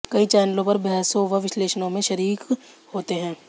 कई चैनलों पर बहसों व विश्लेषणों में शरीक होते हैं